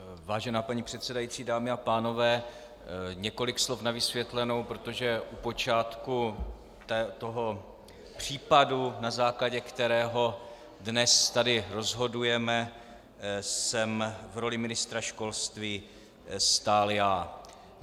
Vážená paní předsedající, dámy a pánové, několik slov na vysvětlenou, protože u počátku toho případu, na základě kterého dnes tady rozhodujeme, jsem v roli ministra školství stál já.